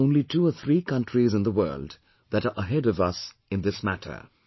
There are now only two or three countries in the world that are ahead of us in this matter